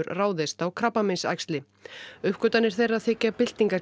ráðast á krabbameinsæxli uppgötvanir þeirra þykja